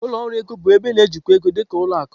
Ụlọ ọrụ ego bụ ebe na-ejikwa ego, dị ka ụlọ akụ.